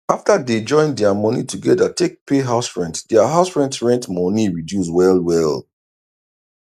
after dey join dia moni togeda take pay house rent dia house rent rent moni reduce well well